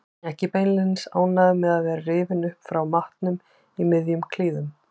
Ekki beinlínis ánægður með að vera rifinn upp frá matnum í miðjum klíðum.